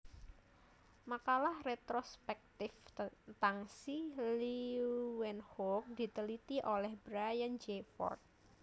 Makalah retrospektif tentang si Leeuwenhoek diteliti oleh Brian J Ford